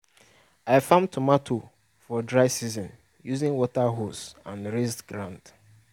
i farm tomato for dry season using water hose and raised ground.